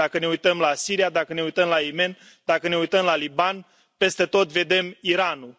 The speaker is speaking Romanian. Dacă ne uităm la Siria, dacă ne uităm la Yemen, dacă ne uităm la Liban, peste tot vedem Iranul.